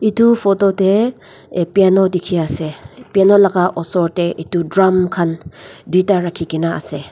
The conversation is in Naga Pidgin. etu photo teh a piano dikhi ase piano laga oshor teh etu drum khan duita rakhi ke na ase.